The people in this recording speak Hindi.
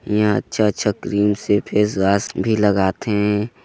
इहा अच्छा-अच्छा क्रीम से फेसवाश भी लगाथे।